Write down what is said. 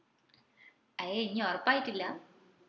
അയെ ഇഞ് ഉറപ്പായിട്ടില്ലാ?